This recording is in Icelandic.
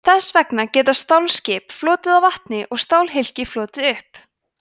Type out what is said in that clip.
þess vegna geta stálskip flotið á vatni og stálhylki flotið upp